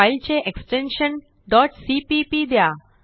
फाईलचे extension cpp द्या